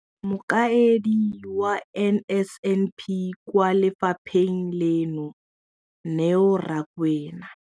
Mokaedi wa NSNP kwa lefapheng leno, Neo Rakwena.